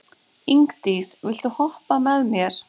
Ingdís, viltu hoppa með mér?